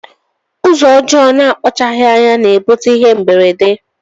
Ụzọ ọjọ na akpachapughi anya na ebute ihe mberede.